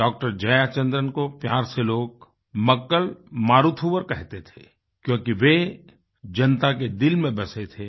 doctor Jayachandran को प्यार से लोग मक्कल मारुथुवरकहते थे क्योंकि वे जनता के दिल में बसे थे